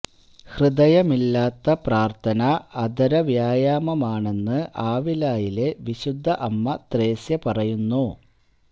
ഹൃദയമില്ലാത്ത പ്രാർത്ഥന അധര വ്യായാമാണെന്ന് ആവിലായിലെ വിശുദ്ധ അമ്മ ത്രേസ്യ പറയുന്നു